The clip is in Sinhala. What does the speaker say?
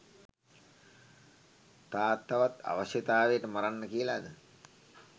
තාත්තාවත් අවශ්‍යතාවයට මරන්න කියලාද?